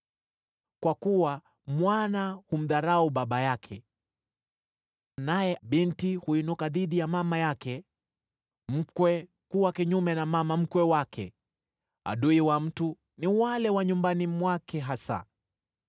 Kwa kuwa mwana humdharau baba yake, naye binti huinuka dhidi ya mama yake, mkwe kuwa kinyume na mama mkwe wake: adui wa mtu ni wale wa nyumbani mwake hasa.